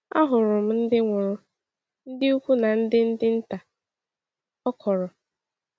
“Ahụrụ m ndị nwụrụ, ndị ukwu na ndị ndị nta,” ọ kọọrọ.